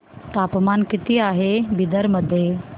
तापमान किती आहे बिदर मध्ये